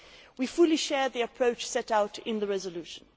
We fully share the approach set out in the resolution.